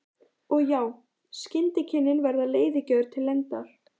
Og já, skyndikynnin verða leiðigjörn til lengdar.